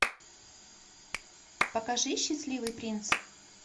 покажи счастливый принц